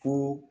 Ko